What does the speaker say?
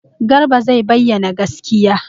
Garba zai bayyana gaskiya.